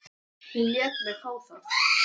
Hún lét mig fá það.